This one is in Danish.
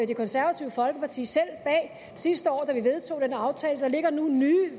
det konservative folkeparti selv bag sidste år da vi vedtog den aftale der ligger nu nye